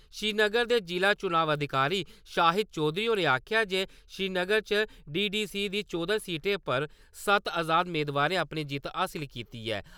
श्रीनगर दे ज़िला चुनाव अधिकारी शाहिद चौधरी होरें आक्खेआ जे श्रीनगर च डी.डी.सी. दी चौह्दें सीटें पर सत्त आजाद मेदवारें अपनी जित्त हासल कीती ऐ ।